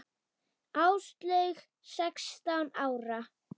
Áslaug sextán ára.